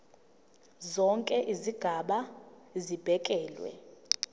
zonke izigaba zibekelwe